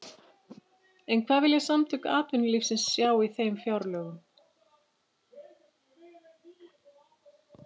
En hvað vilja Samtök atvinnulífsins sjá í þeim fjárlögum?